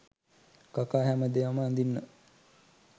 කකා හැමදාම අඳින්නෙ